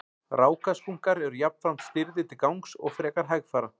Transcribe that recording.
rákaskunkar eru jafnframt stirðir til gangs og frekar hægfara